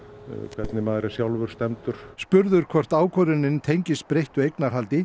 hvernig maður er sjálfur stemmdur spurður um hvort ákvörðunin tengist breyttu eignarhaldi